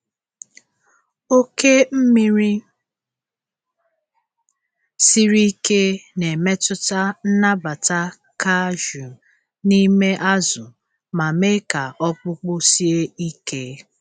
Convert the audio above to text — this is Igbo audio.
Oke mmiri siri ike na-emetụta nnabata calcium n'ime azụ ma mee ka ọkpụkpụ sie ike.